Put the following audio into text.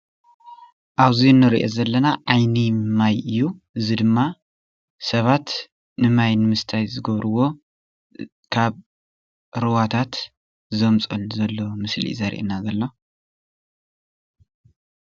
እዚ ምስሊ ማይ ሻኽ ወይ ምንጪ እንትኸውን ህፃውንቲ ገጠር ይመልኡ ይርከቡ።